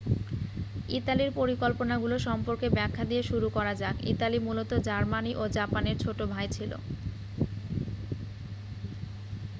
"ইতালির পরিকল্পনাগুলো সম্পর্কে ব্যাখ্যা দিয়ে শুরু করা যাক। ইতালি মূলত জার্মানি ও জাপানের "ছোট ভাই" ছিল।